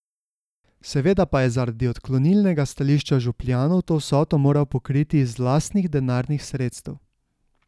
Seveda pa je zaradi odklonilnega stališča župljanov to vsoto moral pokriti iz lastnih denarnih sredstev.